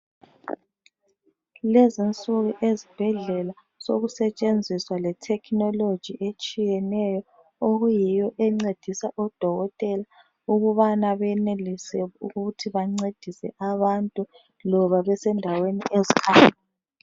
lezinsuku ezibhedlela sokusetshenziswa le technology etshiyeneyo okuyiyo encedisa odokotela ukubana benelise ukuthi bancedise abantu loba besendaweni ezikhatshana